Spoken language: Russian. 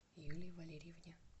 юлии валерьевне